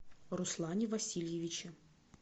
руслане васильевиче